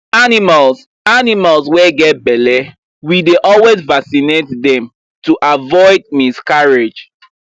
animals animals wy get belle we dey always vacinate dem to avoid miscarrige